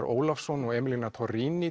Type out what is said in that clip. Ólafsson og emiliana